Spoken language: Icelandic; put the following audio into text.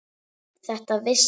Þetta vissi